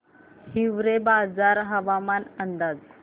हिवरेबाजार हवामान अंदाज